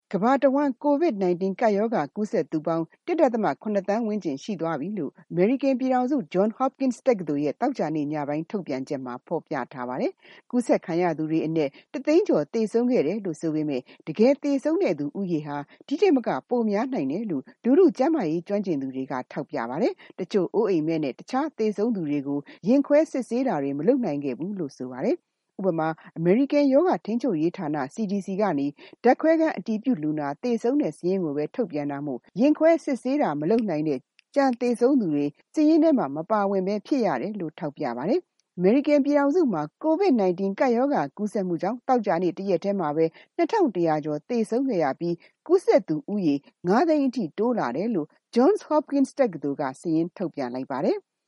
ကမ္ဘာတဝန်း COVID-19 ကပ်ရောဂါ ကူးစက်သူပေါင်း ၁.၇ သန်းဝန်းကျင် ရှိသွားပြီလို့ အမေရိကန်ပြည်ထောင်စု Johns Hopkins တက္ကသိုလ်ရဲ့ သောကြာနေ့ညပိုင်း ထုတ်ပြန်ချက်မှာ ဖော်ပြထားပါတယ်။ ကူးစက်ခံရသူတွေအနက် ၁ သိန်းကျော် သေဆုံးခဲ့တယ်လို့ ဆိုပေမယ့် တကယ်သေဆုံးတဲ့ ဦးရေဟာ ဒီထက်မက ပိုများနိုင်တယ်လို့ လူထုကျန်းမာရေး ကျွမ်းကျင်သူတွေက ထောက်ပြပါတယ်။ တချို့ အိုးအိမ်မဲ့နဲ့ တခြား သေဆုံးသူတွေကို ရင်ခွဲစစ်ဆေးတာတွေ မလုပ်နိုင်ခဲ့ဘူးလို့ ပြောပါတယ်။ ဥပမာ အမေရိကန် ရောဂါထိန်းချုပ်ရေးဌာနက ဓာတ်ခွဲခန်း အတည်ပြုလူနာ သေဆုံးစာရင်းကိုပဲ ထုတ်ပြန်တာမို့ ရင်ခွဲစစ်ဆေးတာ မလုပ်နိုင်တဲ့ ကျန်သေဆုံးသူတွေ စာရင်းထဲမှာ မပါဖြစ်ရတယ်လို့ ထောက်ပြပါတယ်။ အမေရိကန်ပြည်ထောင်စုမှာ COVID-19 ကူးစက်မှုကြောင့် သောကြာနေ့ တရက်တည်းမှာ ၂၁၀၀ ကျော် သေဆုံးခဲ့ရပြီး ကူးစက်သူဦးရေ ၅ သိန်းအထိ တိုးလာတယ်လို့ Johns Hokpins တက္ကသိုလ်က စာရင်းထုတ်ပြန်လိုက်ပါတယ်။